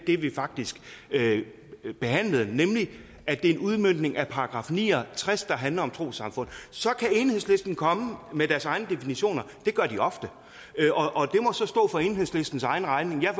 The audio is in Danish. det vi faktisk behandlede nemlig at det er en udmøntning af § ni og tres der handler om trossamfund så kan enhedslisten komme med deres egne definitioner det gør de ofte og så stå for enhedslistens egen regning jeg